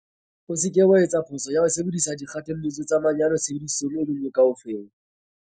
O se ke wa etsa phoso ya ho sebedisa dikgothalletso tsa manyolo tshebedisong e le nngwe kaofela.